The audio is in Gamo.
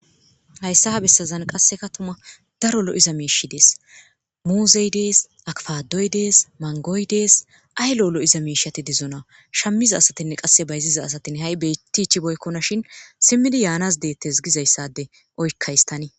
hayssa ha bessazan qasse ka tuma daro lo'iza miishay dees muuzey dees, akfadoy dees, mangoy dees, ay lo'olo'iza miishati dizona shammiza asatinne qasse bayziza asatin ha'i bettichiboykkona shin simmidi yaanas deettes gizayssade oykkahis tani